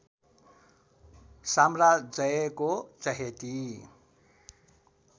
साम्राजयको चहेती